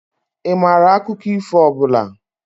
Ị maara akụkọ ifo ọ bụla?